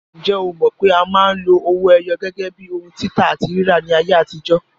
Ǹjẹ́ o mọ̀ pé a máa ń lo owó ẹyọ gẹ́gẹ́ bíi ohun títà àti rírà ní ayé àtijó?